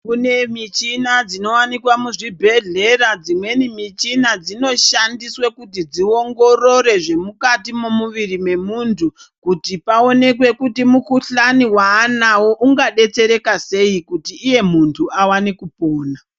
Kune michina dzinowanikwa muzvibhedhlera, dzimweni michina dzinoshandiswe kuti dziongorore zvemukati mwemuviri wemunhu, kuti paonekwe kuti mukhuhlani waanawo ungadetsereka sei kuti iye munhu awane kupona.